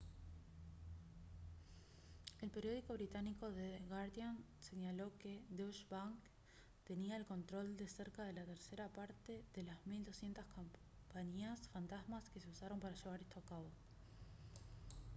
el periódico británico the guardian señaló que deutsche bank tenía el control de cerca de la tercera parte de las 1200 compañías fantasma que se usaron para llevar esto a cabo